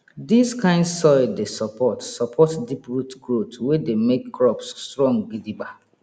dis kind soil dey support support deep root growth wey dey make crops strong gidigba